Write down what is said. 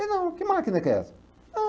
não, que máquina que é essa? Não